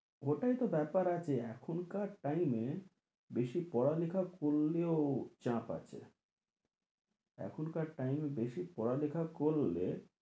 ওটাই তো ব্যাপার আছে এখনকার time এ বেশি পড়ালেখা করলেও চাপ আছে এখনকার time এ বেশি পড়ালেখা করলে